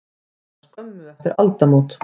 Var það skömmu eftir aldamót.